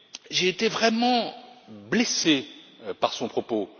J'ai été vraiment blessé par son propos.